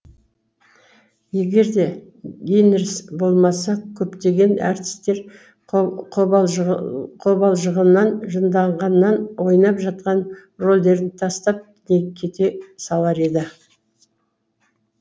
егер де гинерс болмаса көптеген әртістер қобалжығаннан жынданғаннан ойнап жатқан рөлдерін тастап кете салар еді